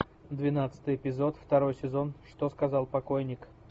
двенадцатый эпизод второй сезон что сказал покойник